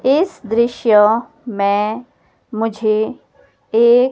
इस दृश्य में मुझे एक--